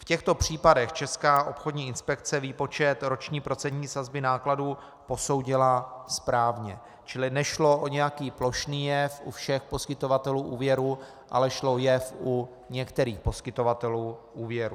V těchto případech Česká obchodní inspekce výpočet roční procentní sazby nákladů posoudila správně, čili nešlo o nějaký plošný jev u všech poskytovatelů úvěrů, ale šlo o jev u některých poskytovatelů úvěrů.